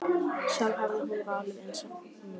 Sjálf hefði hún valið eins nú.